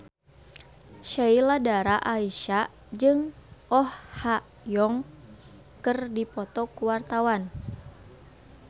Sheila Dara Aisha jeung Oh Ha Young keur dipoto ku wartawan